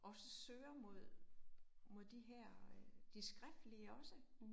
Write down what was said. Også søger mod mod de her øh, det skriftlige også